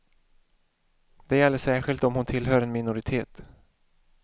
Det gäller särskilt om hon tillhör en minoritet.